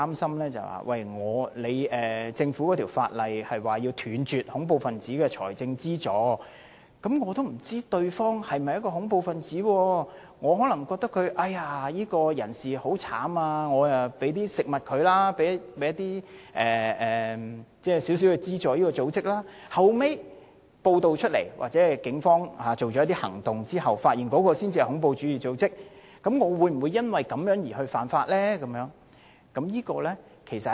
此外，《條例》訂明要斷絕恐怖分子的財政資助，有同事擔心，如果有市民不知道對方是否恐怖分子，可能覺得某人很淒涼，便給他一些食物，或者給某個組織一點資助，後來經報道後或者在警方進行一些行動後才知道那是恐怖主義組織，他會否因而犯法？